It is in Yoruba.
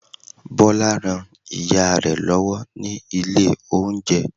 bola rán ìyare lòwó ní ilé oúnjẹ